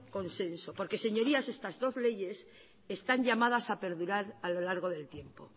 consenso porque señorías estas dos leyes están llamadas a perdurar a lo largo del tiempo